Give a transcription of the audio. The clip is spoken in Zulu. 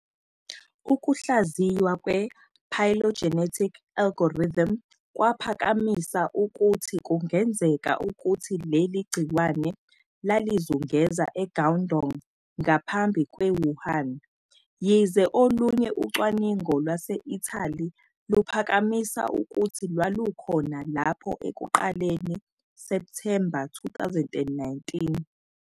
Ukuhlaziywa kwe-phylogenetic algorithm kwaphakamisa ukuthi kungenzeka ukuthi leli gciwane lalizungeza eGuangdong ngaphambi kweWuhan. Yize olunye ucwaningo lwase-Italy luphakamisa ukuthi lwalukhona lapho ekuqaleni Septhemba 2019.